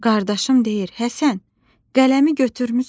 Qardaşım deyir: "Həsən, qələmi götürmüsən?